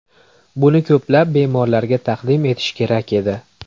Buni ko‘plab bemorlarga taqdim etish kerak edi.